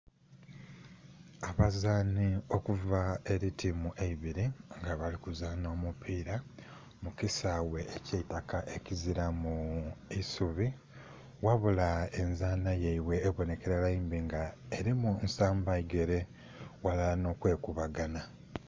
Abazanhi okuva eri tiimu eibiri nga bali kuzaanha omupila mu kisaaghe ekye itaka ekizilamu isubi, ghabula nzanha yaibwe ebonhekala mbi nga erimu nsamba igere ghalala nho kwe kuba ganha.